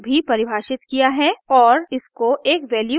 और इसको एक वैल्यू नियुक्त की है